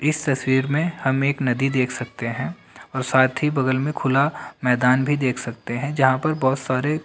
इस तस्वीर में हम एक नदी देख सकते हैं और साथ ही बगल में खुला मैदान भी देख सकते हैं जहाँ पर बोहोत सारे--